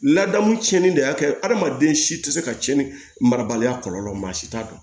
Ladamu tiɲɛni de y'a kɛ hadamaden si tɛ se ka tiɲɛni marabaliya kɔlɔlɔ si t'a dɔn